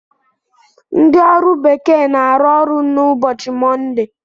Ndị ọrụ bekee na-arụ ọrụ n'ụbọchị Mọnde.